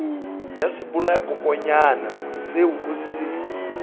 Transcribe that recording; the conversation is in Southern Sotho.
ya sebolayakokwanyana seo o se